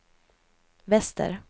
väster